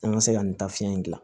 An ka se ka nin taafiɲɛ in gilan